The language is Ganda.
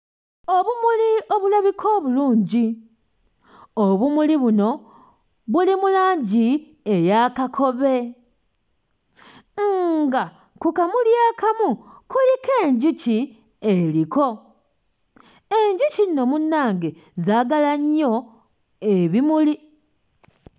Obumuli obulabika obulungi, obumuli buno buli mu langi eya kakobe, nga ku kamuli akamu kuliko enjuki eriko. Enjuki nno munnange zaagala nnyo ebimuli.